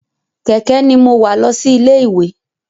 Kẹ̀kẹ́ ní mo wa lọ sí ilé ìwé.